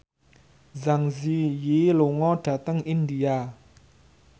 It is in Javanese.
Zang Zi Yi lunga dhateng India